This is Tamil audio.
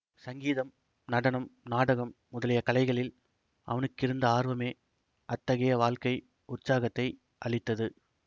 சங்கீதம் நடனம் நாடகம் முதலிய கலைகளில் அவனுக்கிருந்த ஆர்வமே அத்தகைய வாழ்க்கை உற்சாகத்தை அளித்தது